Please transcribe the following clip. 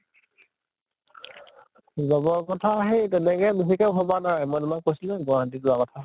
job ৰ কথা সেই তেনেকে বিশেষকে ভবা নাই মই তোমাক কৈছিলো যে গুৱাহাটীত যোৱা কথা